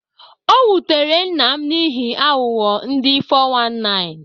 Ọ wutere nna m n'ihi aghụghọ ndị 419.